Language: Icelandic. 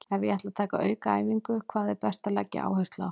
Ef ég ætla að taka aukaæfingu, hvað er best að leggja áherslu á?